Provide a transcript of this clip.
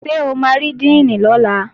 Ṣé o máa rí díìnì lọ́la?